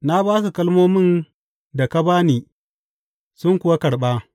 Na ba su kalmomin da ka ba ni sun kuwa karɓa.